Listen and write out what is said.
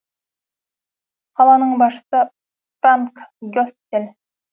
қаланың басшысы франк гессель